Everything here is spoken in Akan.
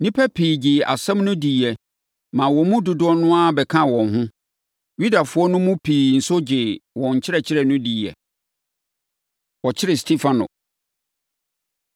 Nnipa pii gyee asɛm no diiɛ maa wɔn mu dodoɔ no ara bɛkaa wɔn ho. Yudafoɔ no mu pii nso gyee wɔn nkyerɛkyerɛ no diiɛ. Wɔkyere Stefano